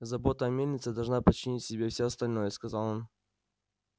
забота о мельнице должна подчинить себе всё остальное сказал он